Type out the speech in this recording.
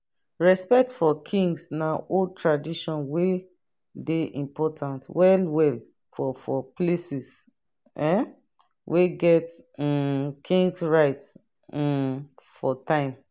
respect for kings na old tradition wey de important wellewell for for places um wey get um kings rights um for time